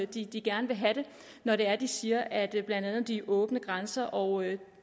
de de gerne vil have det når det er de siger at blandt andet de åbne grænser og